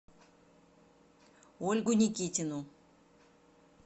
ольгу никитину